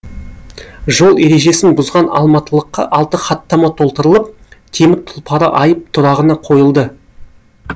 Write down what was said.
жол ережесін бұзған алматылыққа алты хаттама толтырылып темір тұлпары айып тұрағына қойылды